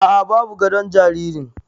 Aa, babu gadon jaririn